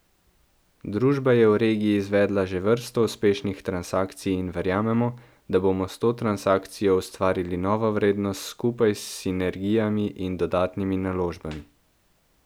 Družba je v regiji izvedla že vrsto uspešnih transakcij in verjamemo, da bomo s to transakcijo ustvarili novo vrednost skupaj s sinergijami in dodatnimi naložbami.